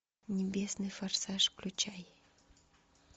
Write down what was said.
небесный форсаж включай